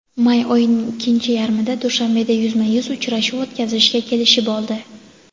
may oyining ikkinchi yarmida Dushanbeda yuzma-yuz uchrashuv o‘tkazishga kelishib oldi.